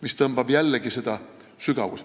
Seegi tõmbab keele sügavust vähemaks.